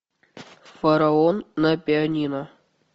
фараон на пианино